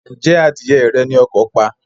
Ǹjẹ́ adìyẹ rẹ ni ọkọ̀ pa?